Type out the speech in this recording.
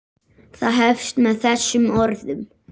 Það hefst með þessum orðum